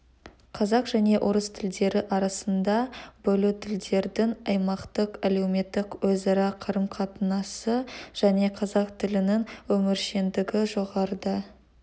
қазақ және орыс тілдері арасында бөлу тілдердің аймақтық әлеуметтік өзара қарым-қатынасы және қазақ тілінің өміршеңдігі жоғарыда